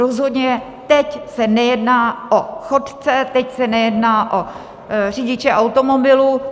Rozhodně teď se nejedná o chodce, teď se nejedná o řidiče automobilů.